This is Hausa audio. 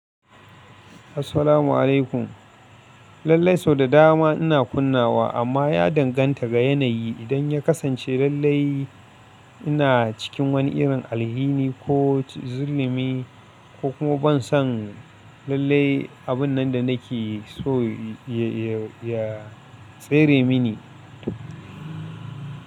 Assalamu alaikum. Lallai sau da dama ina kunna wa amma ya danganta ga yanayi. Idan ya kasance lallai, ina cikin wani irin alhini ko zullumi ko kuma ban san lallai abun nan da nake so ya tsere mini.